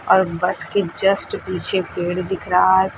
और बस के जस्ट पीछे पेड़ दिख रहा है पि--